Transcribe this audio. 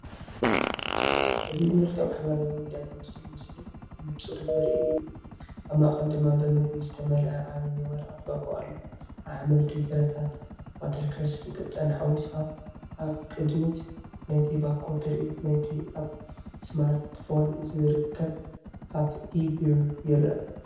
እዚ ብመልክዕ ማሕበራዊ ሚድያ ዝመስል ምስሊ ብንጹር ዘርኢ እዩ። ኣብ ማእኸል ድማ ብምግቢ ዝተመልአ ዓብዪ ናይ ወረቐት ባኮ ኣሎ፤ ኣሕምልቲ፡ ፍረታት፡ዋተርክረስን ቅጫን ሓዊስካ። ኣብ ቅድሚት ናይቲ ባኮ ትርኢት ናይቲ ኣብ ስማርትፎን ዝርከብ ኣፕ ኢ-ቢር ይረአ።